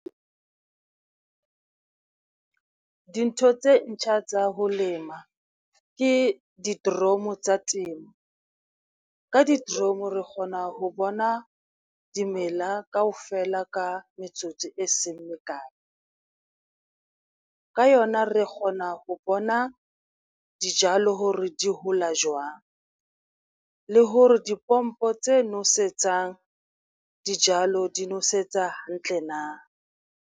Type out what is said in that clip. Ke dintho tse ntjha tsa ho lema ke di-drome tsa temo. Ka di-drome re kgona ho bona dimela kaofela ka metsotso e seng mekae, ka yona re kgona ho bona dijalo hore di hola jwang, le hore dipompo tse nosetsang dijalo di nosetsa hantle na.